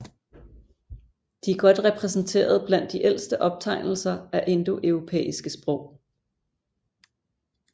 De er godt repræsenterede blandt de ældste optegnelser af indoeuropæiske sprog